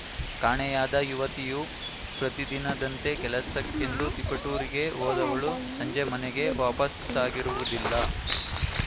ಕಾಣೆಯಾದ ಯುವತಿಯು ಪ್ರತಿದಿನದಂತೆ ಕೆಲಸಕ್ಕೆಂದು ತಿಪುಟೂರಿಗೆ ಹೋದವಳು ಸಂಜೆ ಮನೆಗೆ ವಾಪಾಸ್ಸಾಗಿರುವುದಿಲ್ಲ